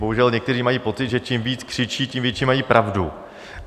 Bohužel někteří mají pocit, že čím víc křičí, tím větší mají pravdu.